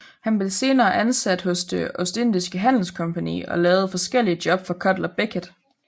Han blev senere ansat hos Det Ostindiske Handelskompagni og lavede forskellige job for Cutler Beckett